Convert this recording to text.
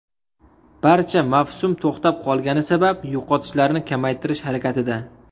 Barcha mavsum to‘xtab qolgani sabab yo‘qotishlarni kamaytirish harakatida.